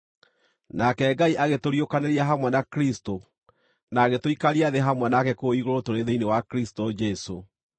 Nake Ngai agĩtũriũkanĩria hamwe na Kristũ na agĩtũikaria thĩ hamwe nake kũu igũrũ tũrĩ thĩinĩ wa Kristũ Jesũ.